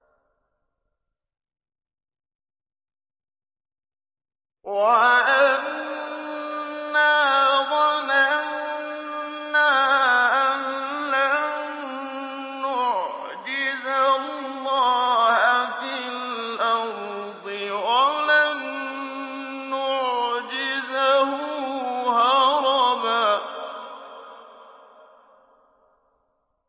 وَأَنَّا ظَنَنَّا أَن لَّن نُّعْجِزَ اللَّهَ فِي الْأَرْضِ وَلَن نُّعْجِزَهُ هَرَبًا